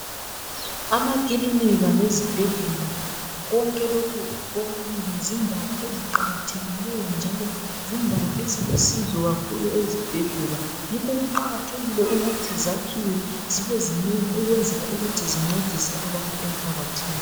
Amakilinika lezibhedlela, konke lokhu kokubili zindawo eziqakathekileyo njalo zindawo ezilusizo kakhulu ezibhedlela. Yikho kuqakathekile ukuthi zakhiwe zibe zinengi ukwenzela ukuthi zincedise abantu emphakathini.